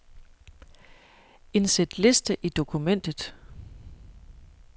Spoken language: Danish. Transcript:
Indsæt liste i dokumentet.